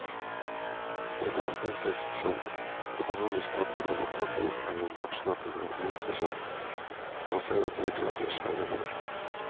Befolkningsvekst som økonomisk faktor og maktfaktor er en hardnakket myte som konservative krefter svermer for.